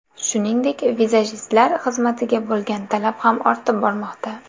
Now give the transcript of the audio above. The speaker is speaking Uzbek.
Shuningdek, vizajistlar xizmatiga bo‘lgan talab ham ortib bormoqda.